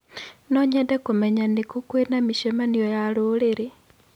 No nyende kũmenya nĩ kũ kwĩna mĩcemanio ya rũrĩrĩ.